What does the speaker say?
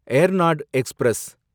Ernad express